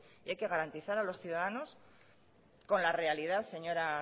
y hay que garantizar a los ciudadanos con la realidad señora